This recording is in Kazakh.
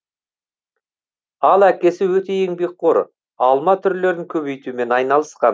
ал әкесі өте еңбекқор алма түрлерін көбейтумен айналысқан